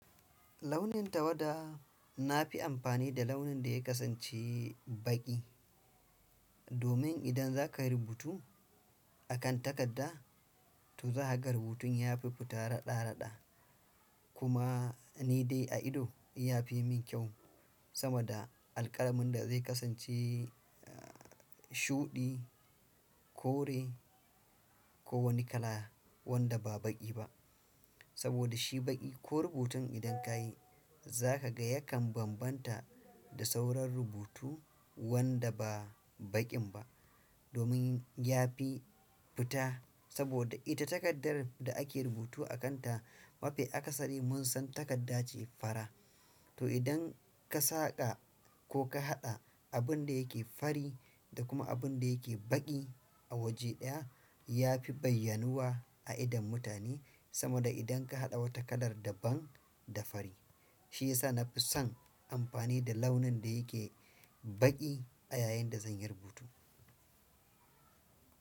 Launin tawada na fi amfani da launin da ya kasance baƙi, domin idan za ka rubutu a kan takarda to zakagan rubutun ya fi fita raɗa-raɗa. Kuma ni dai a ido ya fi min kyau sama da alƙalamin da zai kasance shuɗi, kore ko wani kala wanda ba baƙi ba. Saboda shi baƙi ko rubutun idan ka yi za ka ga yakan bambanta da sauran rubutu wanda ba baƙin ba, domin ya fi fita. Saboda ita takardar da ake rubutu a kanta ma fi aka sani mun san takarda ce fara. To idan ka saƙa ko ka haɗa abin da yake fari da kuma abin da yake baƙi a waje ɗaya, ya fi bayyanuwa a idon mutane sama da idan ka haɗa wata kalar daban da fari. Shiyasa na fi son amfani da launin da yake baƙi a yayin da zanyi rubutu.